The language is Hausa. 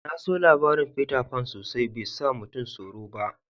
Na so labarin Peter Pan sosai. Bai sa mutum soro ba.